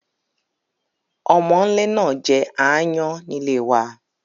Omónle náà je aayán nílé wa